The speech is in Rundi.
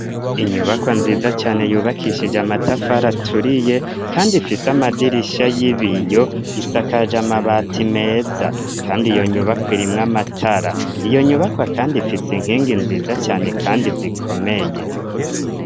Inyubakwa nziza cane yubakishije amatafari aturiye kandi ifise amadirisha y'ibiyo isakaja amabati meza, kandi iyo nyubakwa irimwo amatara, iyo nyubakwa kandi ifise inkingi nziza cane kandi zikomeye.